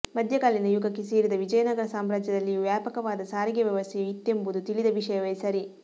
ಮಧ್ಯಕಾಲೀನ ಯುಗಕ್ಕೆ ಸೇರಿದ ವಿಜಯನಗರ ಸಾಮ್ರಾಜ್ಯದಲ್ಲಿಯೂ ವ್ಯಾಪಕವಾದ ಸಾರಿಗೆ ವ್ಯವಸ್ಥೆಯು ಇತ್ತೆಂಬುದು ತಿಳಿದ ವಿಷಯವೇ ಸರಿ